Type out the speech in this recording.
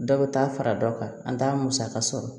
Dɔ bɛ taa fara dɔ kan an t'a musaka sɔrɔ